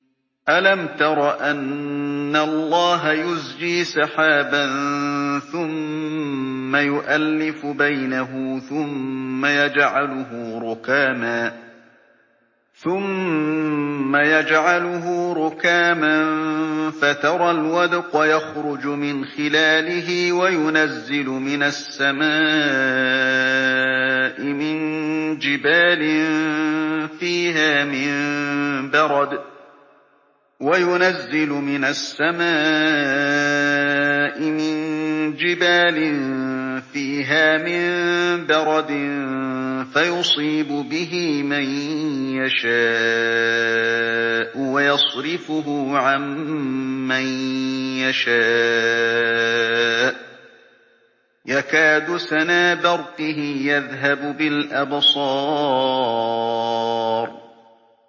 أَلَمْ تَرَ أَنَّ اللَّهَ يُزْجِي سَحَابًا ثُمَّ يُؤَلِّفُ بَيْنَهُ ثُمَّ يَجْعَلُهُ رُكَامًا فَتَرَى الْوَدْقَ يَخْرُجُ مِنْ خِلَالِهِ وَيُنَزِّلُ مِنَ السَّمَاءِ مِن جِبَالٍ فِيهَا مِن بَرَدٍ فَيُصِيبُ بِهِ مَن يَشَاءُ وَيَصْرِفُهُ عَن مَّن يَشَاءُ ۖ يَكَادُ سَنَا بَرْقِهِ يَذْهَبُ بِالْأَبْصَارِ